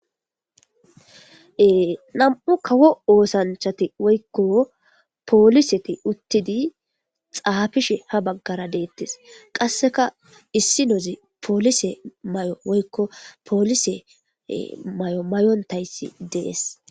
Ee nam'u kawo oosanchati woykko pooliseti uttidi xaafishe ha baggara deettes qasseka issi nozi poolise may'o woykko poolise may'o mayontayssi dees.